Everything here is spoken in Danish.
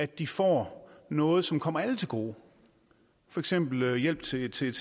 de får noget som kommer alle til gode for eksempel hjælp til til